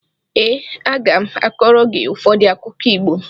Ee, a ga m akọrọ gị ụfọdụ akụkọ Igbo.